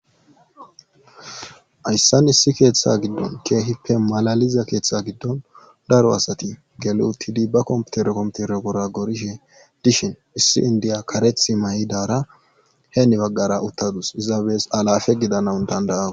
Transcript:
Hayssan issi keeththa giddon keehippe malaliza keeththa giddon daro asati galotidi ba kompitero kompitero pora gorishe dishin issi indiya kareth may'idaara heeni baggara uttadus izaabes alafe gidanawun dandayawu